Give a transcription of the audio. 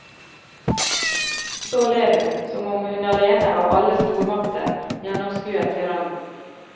Så ler hun, som om hun alene av alle stormakter gjennomskuet tyrannen.